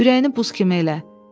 Ürəyini buz kimi elə.